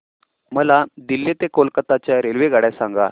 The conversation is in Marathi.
मला दिल्ली ते कोलकता च्या रेल्वेगाड्या सांगा